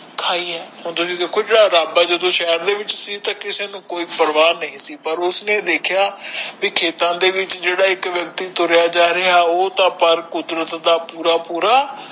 ਖਾਇ ਆ ਓਦੋ ਦੀ ਦੇਖੋ ਜਦ ਆਪਾ ਜਦੋ ਸ਼ਹਿਰ ਦੇ ਵਿਚ ਸੀ ਤਾ ਕਿਸੇ ਨੂੰ ਕੋਈ ਪਰਵਾ ਨਹੀਂ ਸੀ ਪਰ ਉਸਨੇ ਦੇਖਿਆ ਵੀ ਖੇਤਾਂ ਦੇ ਵਿਚ ਜਿਹੜਾ ਇਕ ਵਿਅਕਤੀ ਤੁਰਿਆ ਜਾ ਰਿਹਾ ਉਹ ਤਾ ਪਰ ਕੁਦਰਤ ਦਾ ਪੂਰਾ ਪੂਰਾ